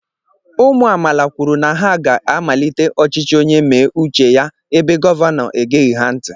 ụmụ amaala kwụrụ na ha ga amalite ọchịchị onyé méé uche ya ébé gọvanọ egéghi ha ntị